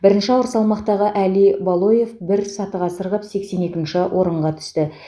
бірінші ауыр салмақтағы әли балоев бір сатыға сырғып сексен екінші орынға түсті